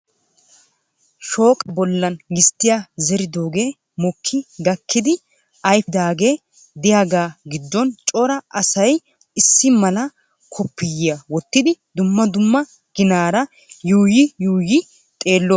Shooqa bollan gisttiyaa zeridooge mokki gakkidi ayfidaage de'iyaaga giddon cora asay issi mala koppiyiyya wottidi dumma dumma ginaara yuuyyi yuuyyi xeelloosona.